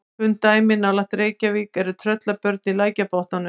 Kunn dæmi nálægt Reykjavík eru Tröllabörn í Lækjarbotnum.